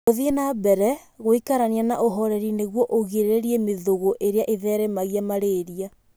Gũthiĩ na mbere gũikarania na ũhoreri nĩguo ũgirĩrĩrie mĩthũgũ ĩrĩa ĩtheremagia malaria.